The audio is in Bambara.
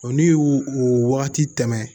O ni o wagati tɛmɛ